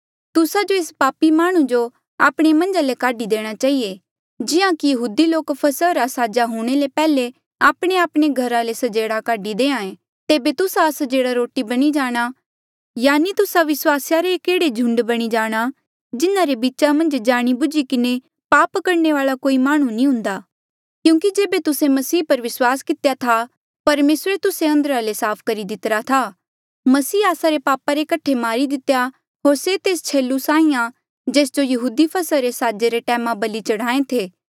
तुस्सा जो एस पापी माह्णुं जो आपणे मन्झ ले काढी देणा चहिए जिहां कि यहूदी लोक फसहा रा साजा हूंणे ले पैहले आपणेआपणे घरा ले स्जेड़ा काढी दे तेबे तुस्सा अस्जेह्ड़ा रोटी बणी जाणा यानि तुस्सा विस्वासिया रे एक एह्ड़े झुंडा बणी जाणा जिन्हारे बीचा मन्झ जाणी बुझी किन्हें पाप करणे वाल्आ कोई माह्णुं नी हुंदा क्यूंकि जेबे तुस्से मसीह पर विस्वास कितेया था परमेसरे तुस्से अंदरा ले साफ करी दितिरा था मसीह आस्सा रे पापा कठे मारी दितेया होर से तेस छेलु साहीं आ जेस जो यहूदी फसहा रे साजे रे टैमा बलि चढ़ाहें थे